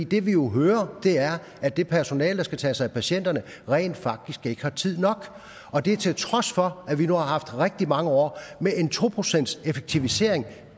det vi jo hører er at det personale der skal tage sig af patienterne rent faktisk ikke har tid nok og det til trods for at vi nu har haft rigtig mange år med en to procentseffektivisering